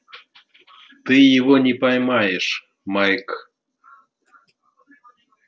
ты его не поймаешь майк